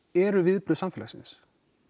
eru viðbrögð samfélagsins